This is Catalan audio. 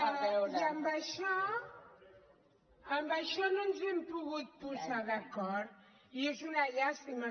i en això no ens hem pogut posar d’acord i és una llàstima